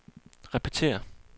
repetér